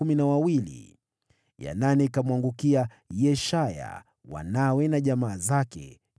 ya nane ikamwangukia Yeshaya, wanawe na jamaa zake, 12